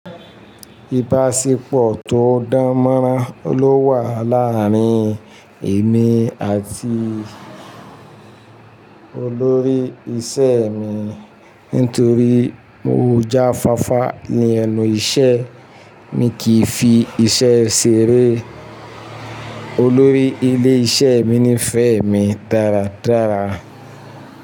Ìbáṣepọ̀ tó dánmọ́nrán ló wà láàárín èmi àti olórí iṣẹ́ mi nítorí mo jáfáfá ní ẹnu iṣẹ́. Mi kìí fi iṣẹ́ ṣeré. Olórí ilé-iṣẹ́ mi nífẹ̀ẹ́ mi dáradára.